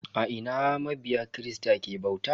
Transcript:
A ina mabiya kirista ke bauta?